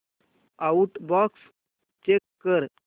outbox check कर